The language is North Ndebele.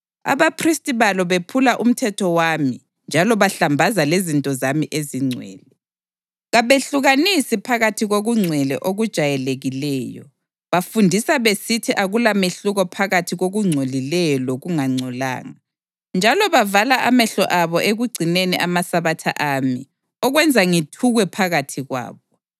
Abaphristi balo bephula umthetho wami njalo bahlambaza lezinto zami ezingcwele; kabehlukanisi phakathi kokungcwele okujayelekileyo; bafundisa besithi akulamehluko phakathi kokungcolileyo lokungangcolanga; njalo bavala amehlo abo ekugcineni amaSabatha ami, okwenza ngithukwe phakathi kwabo.